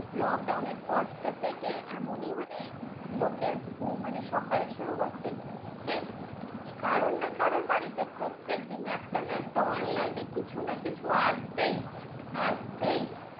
Lockdown এর পরটা থেকে এমনই মানে লোকের ঘুম মানে সকাল শুরু হচ্ছে যে, কারোর না কারোর বাড়িতে প্রত্যেক দিন একটা না একটা online এ কিছু না কিছু আসবেই আসবেই।